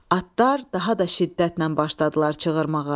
Atlar daha da şiddətlə başladılar çığırmağa.